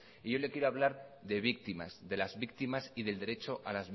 y yo le quiero hablar de víctimas de las víctimas y del derecho